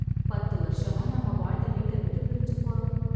பத்து வருஷமா நாம வாழ்ந்த வீட்ட விட்டு பிரிஞ்சு போறோம்